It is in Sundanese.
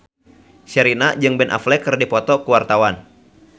Sherina jeung Ben Affleck keur dipoto ku wartawan